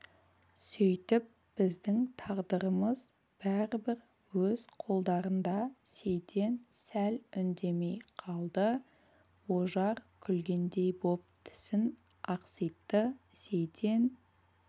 сөйтіп біздің тағдырымыз бәрібір өз қолдарында сейтен сәл үндемей қалды ожар күлгендей боп тісін ақситты сейтен